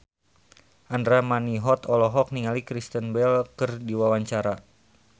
Andra Manihot olohok ningali Kristen Bell keur diwawancara